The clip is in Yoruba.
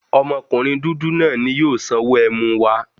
Ọmọkunrin dudu naa ni yoo sanwo ẹmu wa